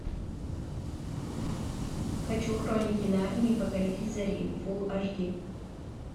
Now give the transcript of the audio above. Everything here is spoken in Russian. хочу хроники нарнии покоритель зари фул аш ди